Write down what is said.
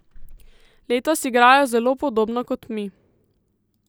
Letos igrajo zelo podobno kot mi.